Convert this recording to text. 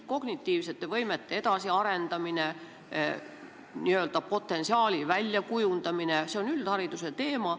Kognitiivsete võimete arendamine, n-ö potentsiaali väljakujundamine – see on üldhariduse teema.